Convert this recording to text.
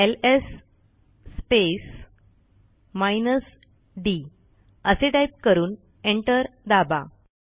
LS space minus D असे type करून enter दाबा